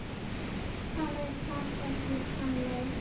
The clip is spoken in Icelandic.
Það er samt ekki þannig.